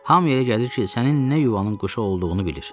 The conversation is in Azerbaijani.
Hamıya elə gəlir ki, sənin nə yuvanın quşu olduğunu bilir.